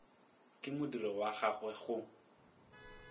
ka modiro wa gagwe go